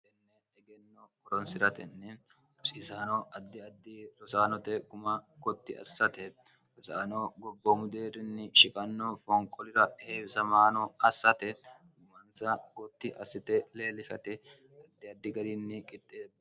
enne egenno boronsi'ratenni rosiisaano addi addi rosaanote guma gotti assate rosaano gobbomudeerinni shiqanno foonqolira heewisamaano assate gumansa gotti assite leellifate addi addi garinni qixxeee